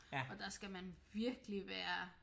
Og der skal man virkelig være